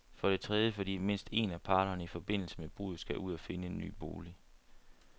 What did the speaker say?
For det tredje, fordi mindst en af parterne i forbindelse med bruddet skal ud og finde en ny bolig.